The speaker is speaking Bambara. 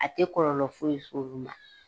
A tɛ kɔlɔlɔ foyi se olu ma